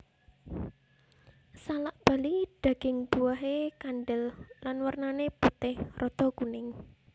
Salak Bali daging buahé kandel lan wernané putih rada kuning